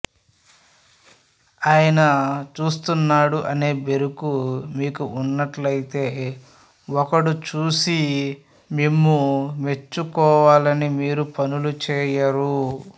ఆయన చూస్తున్నాడు అనే బెరుకు మీకు ఉన్నట్లయితే ఒకడు చూసి మిమ్ము మెచ్చుకోవాలని మీరు పనులు చేయరు